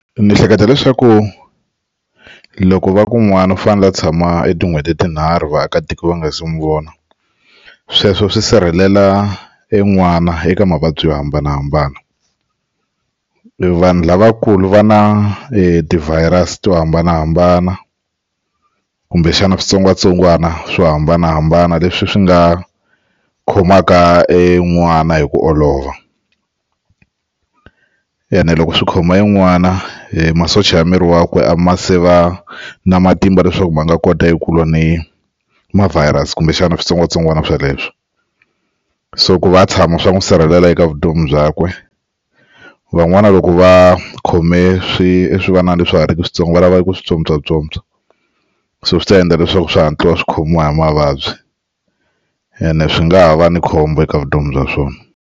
Ndzi hleketa leswaku loko va ku n'wana u fanele a tshama etin'hweti tinharhu vaakatiko va nga se mu vona sweswo swi sirhelela en'wana eka mavabyi yo hambanahambana vanhu lavakulu va na ti-virus-i to hambanahambana kumbexana switsongwatsongwana swo hambanahambana leswi swi nga khomaka en'wana hi ku olova ene loko swi khoma en'wana masocha ya miri wakwe a ma se va na matimba leswaku ma nga kota eku lwa ni ma virus kumbexana switsongwatsongwana sweleswo so ku va a tshama swa n'wi sirhelela eka vutomi byakwe van'wani loko va khome swi swivanana leswi swa ha ri ki switsongo va lava eku swi tsotswatsotswa so swi ta endla leswaku swi hatla swi khomiwa hi mavabyi ene swi nga ha va ni khombo eka vutomi bya swona.